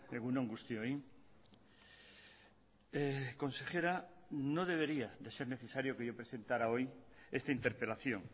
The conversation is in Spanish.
egun on guztioi consejera no debería de ser necesario que yo presentara hoy esta interpelación